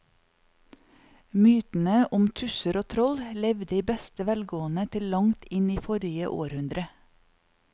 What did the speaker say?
Mytene om tusser og troll levde i beste velgående til langt inn i forrige århundre.